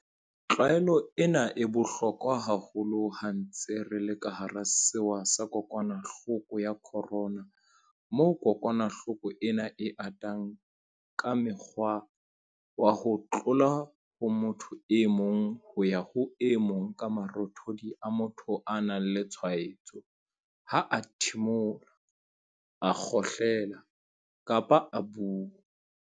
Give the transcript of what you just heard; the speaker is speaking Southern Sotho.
Tlwaelo ena e bohlokwa haholo ha re ntse re le hara sewa sa kokwanahloko ya corona moo kokwanahloko ena e atang ka mokgwa wa ho tloha ho motho e mong ho ya ho e mong ka marothodi a motho ya nang le tshwaetso ha a thimola, a kgohlela kapa a bua.